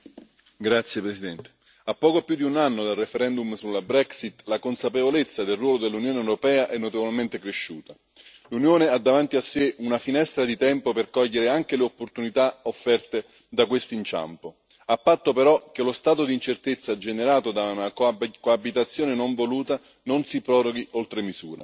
Signora Presidente, onorevoli colleghi, a poco più di un anno dal referendum sulla Brexit, la consapevolezza del ruolo dell'Unione europea è notevolmente cresciuta. L'Unione ha davanti a sé una finestra di tempo per cogliere anche le opportunità offerte da questo inciampo, a patto però che lo stato di incertezza generato da una coabitazione non voluta, non si proroghi oltre misura.